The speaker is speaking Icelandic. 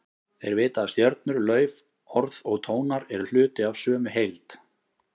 Þeir vita að stjörnur, lauf, orð og tónar eru hluti af sömu heild.